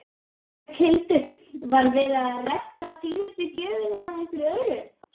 Berghildur: Var verið að redda síðustu gjöfinni eða einhverju öðru?